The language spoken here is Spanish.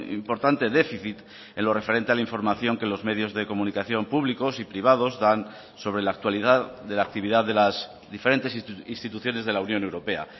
importante déficit en lo referente a la información que los medios de comunicación públicos y privados dan sobre la actualidad de la actividad de las diferentes instituciones de la unión europea